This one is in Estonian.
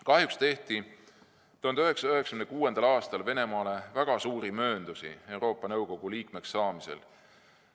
Kahjuks tehti 1996. aastal Venemaale väga suuri mööndusi Euroopa Nõukogu liikmeks saamisel.